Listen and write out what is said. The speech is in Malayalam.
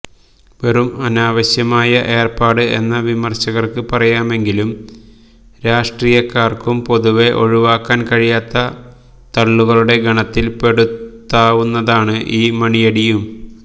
വെറും അനാവശ്യമായ ഏര്പ്പാട് എന്ന് വിമര്ശകര്ക്ക് പറയാമെങ്കിലും രാഷ്ട്രീയകര്ക്കു പൊതുവെ ഒഴിവാക്കാന് കഴിയാത്ത തള്ളുകളുടെ ഗണത്തില് പെടുത്താവുന്നതാണ് ഈ മണിയടിയും